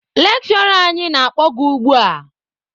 Lekshụra anyị na-akpọ gị ugbua!